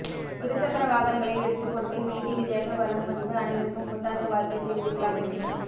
இரு சக்கர வாகனங்களை எடுத்துக் கொண்டு விதி விதியாக வலம் வந்து அனைவருக்கும் புத்தாண்டு வாழ்த்தை தெரிவிக்கலாம் என்றும்